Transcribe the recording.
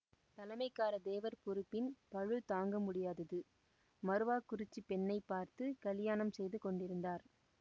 தலைமைக்காரத் தேவர் பொறுப்பின் பளு தாங்க முடியாதது மறவக் குறிச்சிப் பெண்ணை பார்த்து கலியாணம் செய்து கொண்டிருந்தார்